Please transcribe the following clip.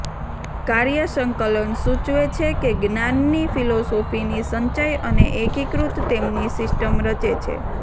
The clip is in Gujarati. કાર્ય સંકલન સૂચવે છે કે જ્ઞાનની ફિલોસોફીની સંચય અને એકીકૃત તેમની સિસ્ટમ રચે છે